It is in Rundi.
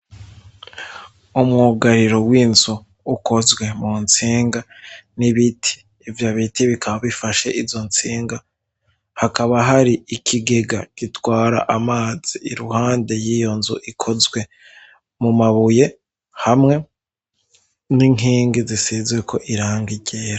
Umwugariro w'inzu ukozwe mu ntsenga n'ibiti ivyo biti bikaba bifashe izo ntsenga hakaba hari ikigega gitwara amazi iruhande yiyo nzu ikozwe mu mabuye hamwe n'inkenge zisizweko irangiye.